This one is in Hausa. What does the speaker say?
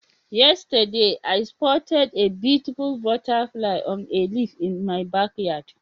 Yesterday, I spotted a beautiful butterfly on a leaf in my backyard